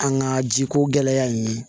An ka jiko gɛlɛya in ye